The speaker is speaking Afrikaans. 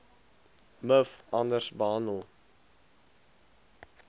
miv anders behandel